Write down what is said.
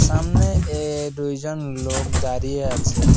সামনে এ দুইজন লোক দাঁড়িয়ে আছে ।